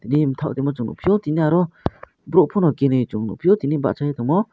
rimthok tongma chung nukphio tini oro borok pono keni chung nukphio tini bachoi tongmo.